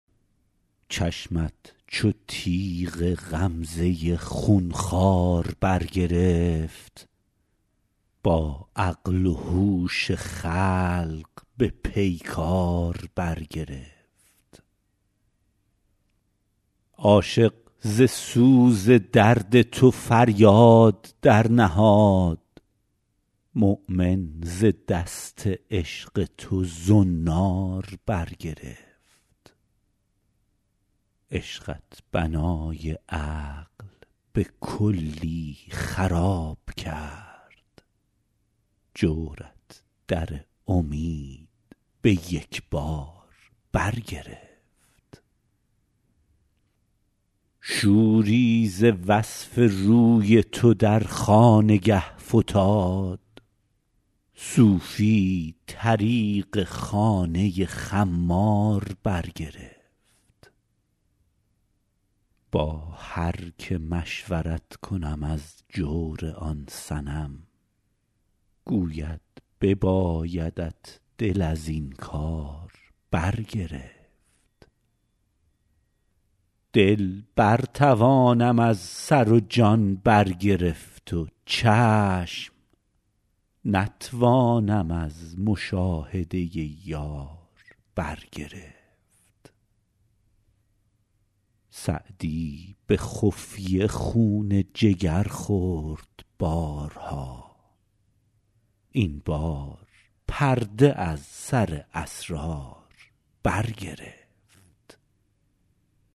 چشمت چو تیغ غمزه خون خوار برگرفت با عقل و هوش خلق به پیکار برگرفت عاشق ز سوز درد تو فریاد درنهاد مؤمن ز دست عشق تو زنار برگرفت عشقت بنای عقل به کلی خراب کرد جورت در امید به یک بار برگرفت شوری ز وصف روی تو در خانگه فتاد صوفی طریق خانه خمار برگرفت با هر که مشورت کنم از جور آن صنم گوید ببایدت دل از این کار برگرفت دل برتوانم از سر و جان برگرفت و چشم نتوانم از مشاهده یار برگرفت سعدی به خفیه خون جگر خورد بارها این بار پرده از سر اسرار برگرفت